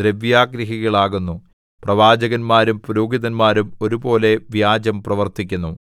ദ്രവ്യാഗ്രഹികൾ ആകുന്നു പ്രവാചകന്മാരും പുരോഹിതന്മാരും ഒരുപോലെ വ്യാജം പ്രവർത്തിക്കുന്നു